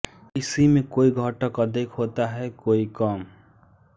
किसी में कोई घटक अधिक होता है कोई कम